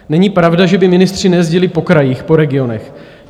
Není pravda, že by ministři nejezdili po krajích, po regionech.